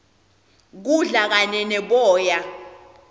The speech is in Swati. kudla kanye neboya